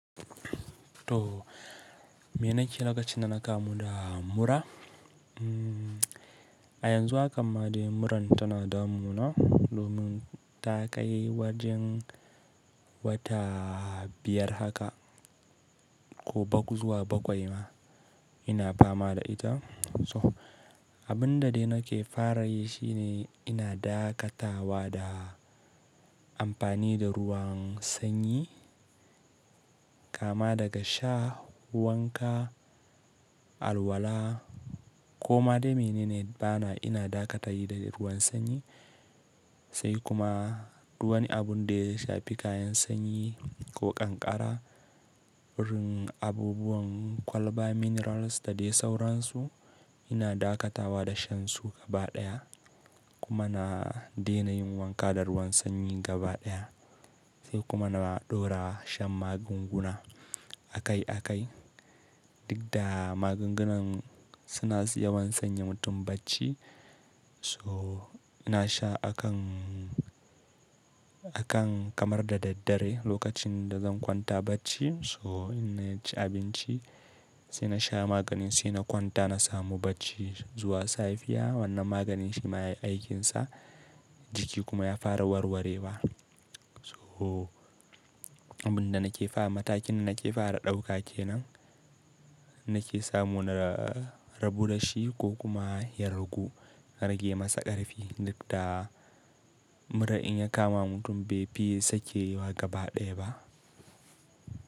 To, me nake lokacin da naka muda mura? A yanzu akamma dai muran tana damuna domin ta kai wajen wata biyar haka ko bakwai ma ina fama da ita. So abun da dai nake fara yi shine ina dakatawa da amfani da ruwan sanyi. Kama daga sha, wanka, alwala ko ma dai mene ne bana ina dakata yi da ruwan sanyi. Sai kuma duk wani abun da ya fi kayan sanyi ko ƙanƙara, wurin abubuwan kwalba minerals da dai sauransu ina dakatawa da shan su gaba ɗaya kuma na daina yin wanka da ruwan sanyi gaba ɗaya. Sai kuma na ɗora shan magunguna akai akai. Duk da magungunan suna siyan sanya mutum bacci. So ina sha akan, akan kamar da daddare lokacin da zan kwanta bacci. So ina ci abinci sai na sha maganin sai na kwanta na samu bacci zuwa safiya wannan maganin shi ma yayi aikinsa jiki kuma ya fara warwarewa. So abun da nake fara matakin nake fara ɗauka kenan nake samu na rabu da shi ko kuma ya ragu. Na rage masa ƙarfi duk da mura in ya kama mutum bai fi sake yiwuwa gaba ɗaya ba.